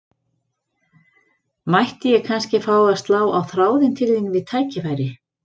Mætti ég kannski fá að slá á þráðinn til þín við tækifæri?